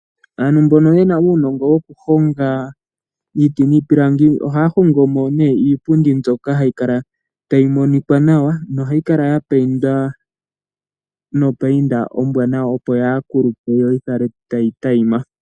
Aantu mbono yena uunongo wokuhonga iiti niipilangi, ohaya hongomo iipundi ndyoka hayi kala tayi monika nawa nohayi kala ya payindwa nopayinda ombwanawa opo yaakulupe yoyi kale tayi tayima.